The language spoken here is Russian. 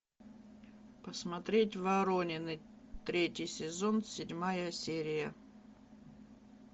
посмотреть воронины третий сезон седьмая серия